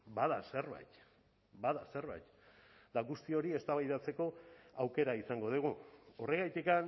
bada zerbait bada zerbait eta guzti hori eztabaidatzeko aukera izango dugu horregatik